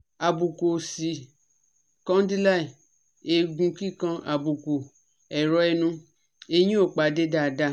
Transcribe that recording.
Àbùkù òsì condyle, egun kikan, àbùkù, ẹ̀rọ ẹnu, eyin o pade daadaa